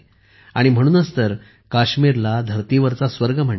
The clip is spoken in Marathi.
म्हणूनच तर काश्मीरला धरतीवरचा स्वर्ग म्हणतात